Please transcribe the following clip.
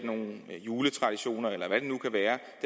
nogle juletraditioner eller en